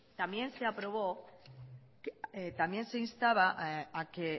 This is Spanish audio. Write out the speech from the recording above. también se aprobó también se instaba a que